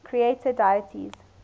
creator deities